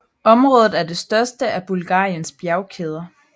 Området er det største af Bulgariens bjergkæder